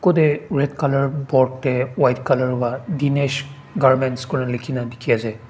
kodey red colour board tey white colour wa dinesh garments korna likhina dikhina ase.